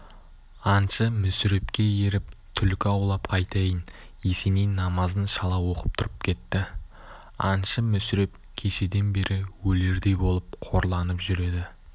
аңшы мүсірепке еріп түлкі аулап қайтайын есеней намазын шала оқып тұрып кетті аңшы мүсіреп кешеден бері өлердей болып қорланып жүр еді